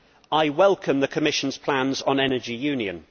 I welcome the Commission's plans on the Energy Union.